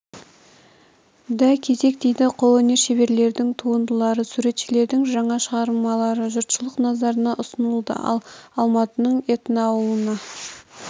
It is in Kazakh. да кезек тиді қолөнер шеберлерінің туындылары суретшілердің жаңа шығармалары жұртшылық назарына ұсынылды ал алматының этноауылына